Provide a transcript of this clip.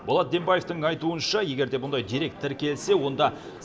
болат дембаевтың айтуынша егер мұндай дерек тіркелсе онда